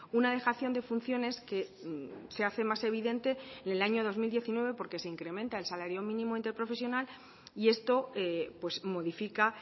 una dejación de funciones que se hace más evidente en el año dos mil diecinueve porque se incrementa el salario mínimo interprofesional y esto modifica